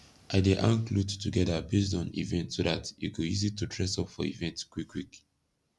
i dey hang kloth togeda based on event so dat e go easy to dress up for event kwikkwik